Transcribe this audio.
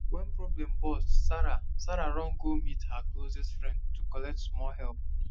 when problem burst sarah sarah run go meet her closest friend to collect small help